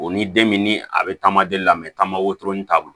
O ni den min ni a bɛ taama de la tama o ton t'a bolo